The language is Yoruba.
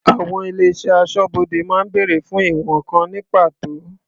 Àwọn ilé-iṣẹ́ aṣọ́bodè máa ń bèrè fún ìwọ̀n kan ní pàtó.